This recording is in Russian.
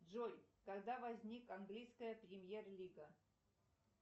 джой когда возник английская премьер лига